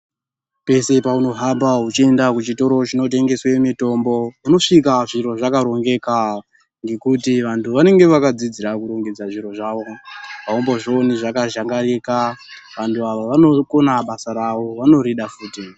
Pese peunohamba uchienda kuchitoro chinotengeswe mitombo unosvika zviro zvakarongeka ngekuti vantu vanenge vakadzidzira kurongedza zviro zvavo, aumbozvioni zvakazhangarika, vanhu vanokona basa ravo, vanorida futi.